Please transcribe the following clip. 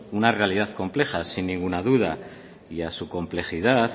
una realidad compleja sin ninguna duda y a su complejidad